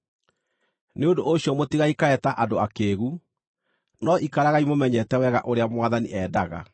Nĩ ũndũ ũcio mũtigaikare ta andũ akĩĩgu, no ikaragai mũmenyete wega ũrĩa Mwathani endaga.